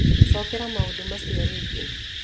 Cokera maũndũ macio rĩngĩ